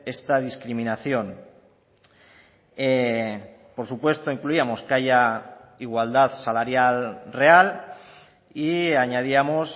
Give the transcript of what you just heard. esta discriminación por supuesto incluíamos que haya igualdad salarial real y añadíamos